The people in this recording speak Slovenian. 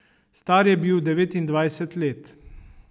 Star je bil devetindvajset let.